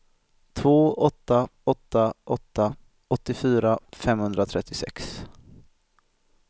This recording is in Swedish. två åtta åtta åtta åttiofyra femhundratrettiosex